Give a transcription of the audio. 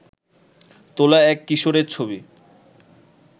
তোলা এক কিশোরের ছবি